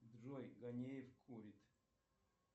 джой ганеев курит